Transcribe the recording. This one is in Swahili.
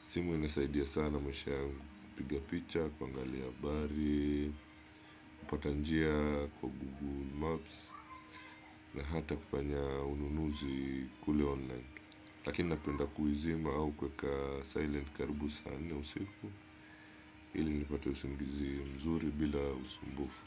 Simu inasaidia sana maisha yangu. Kupiga picha, kuangalia habari, kupata njia kwa google maps. Na hata kufanya ununuzi kule online. Lakini napenda kuizima au kuweka silent karibu sana nne usiku. Ili nipate usingizi mzuri bila usumbufu.